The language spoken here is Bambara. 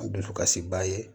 Dusukasi b'a ye